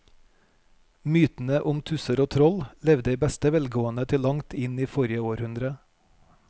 Mytene om tusser og troll levde i beste velgående til langt inn i forrige århundre.